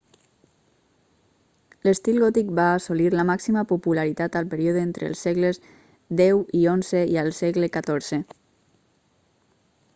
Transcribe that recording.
l'estil gòtic va assolir la màxima popularitat al període entre els segles x i xi i al segle xiv